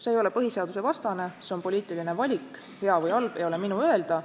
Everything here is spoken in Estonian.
See ei ole põhiseadusvastane, see on poliitiline valik – hea või halb, ei ole minu öelda.